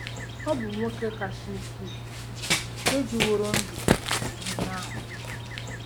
Ọ bụ nwoke kasị ukwuu nke dịworo ndụ kwuru ihe ahụ.